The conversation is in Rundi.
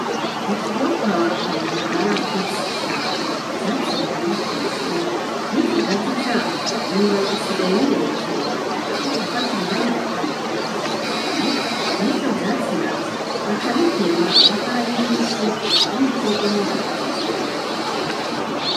Mu kigo kwaba Kabura harakutse ishamba. Ivyatsi bihari biteye isoni, n'ikigazi caho ibibabi bisigaye birekera. Barakwiye gufata umwanya bakabikota bikagabanuka n'ivyo vyatsi navyo bakabitema, bakahagirira isuku. Ubundi bwobwo n'inzoka zizobarya.